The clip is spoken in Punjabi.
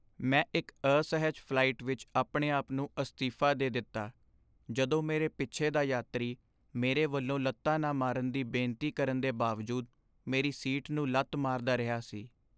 ਮੈਂ ਇੱਕ ਅਸਹਿਜ ਫਲਾਈਟ ਵਿੱਚ ਆਪਣੇ ਆਪ ਨੂੰ ਅਸਤੀਫਾ ਦੇ ਦਿੱਤਾ ਜਦੋਂ ਮੇਰੇ ਪਿੱਛੇ ਦਾ ਯਾਤਰੀ ਮੇਰੇ ਵੱਲੋਂ ਲੱਤਾ ਨਾ ਮਾਰਨ ਦੀ ਬੇਨਤੀ ਕਰਨ ਦੇ ਬਾਵਜੂਦ ਮੇਰੀ ਸੀਟ ਨੂੰ ਲੱਤ ਮਾਰਦਾ ਰਿਹਾ ਸੀ।